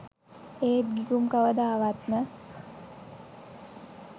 ඒත් ගිගුම් කවදාවත්ම